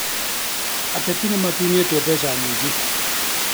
Ateti nĩmatunyĩtwo mbeca nyingĩ